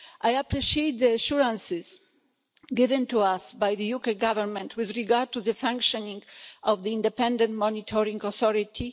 I appreciate the assurances given to us by the UK Government with regard to the functioning of the independent monitoring authority.